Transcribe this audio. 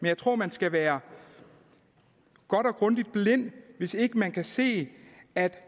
jeg tror man skal være godt og grundigt blind hvis ikke man kan se at